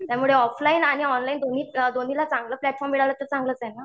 त्यामुळे ऑफलाईन आणि ऑनलाईन दोन्ही दोन्हीला चांगलं प्लॅटफॉर्म मिळालं तर चांगलंच आहे ना.